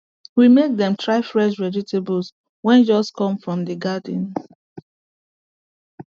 we make dem try fresh vegetables wey just come from the garden